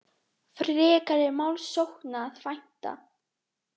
Frekari málssókna að vænta